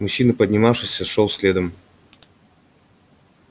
мужчина поднимавшийся шёл следом